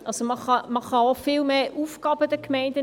Man kann den Gemeinden viel mehr Aufgaben übergeben.